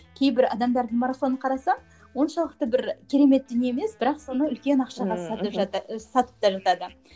кейбір адамдардың марафонын қарасам оншалықты бір керемет дүние емес бірақ соны үлкен ақшаға сатып сатып та жатады